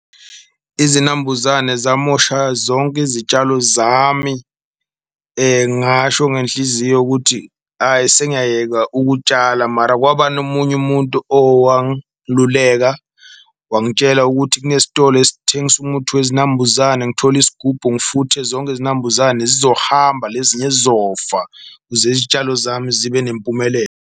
Izinambuzane zamosha zonke izitshalo zami ngasho ngenhliziyo ukuthi ayi sengiyayeka ukutshala, mara kwaba nomunye umuntu owangiluleka wangitshela ukuthi kunesitolo esithengisa umuthi wezinambuzane. Angithole isigubhu futhi zonke izinambuzane zizohamba lezinye zizofa, ukuze izitshalo zami zibe nempumelelo.